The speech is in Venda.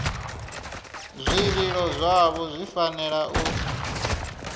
zwililo zwavho zwi fanela u